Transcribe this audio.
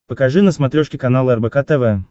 покажи на смотрешке канал рбк тв